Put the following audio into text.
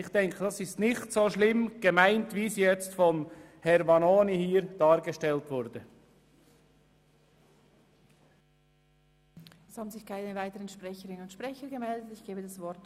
Ich denke, das ist nicht so schlimm gemeint, wie es Grossrat Vanoni dargestellt hat.